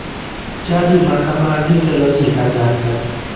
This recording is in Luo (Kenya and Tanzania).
Chadi ma kamagi kelo ji kanyakla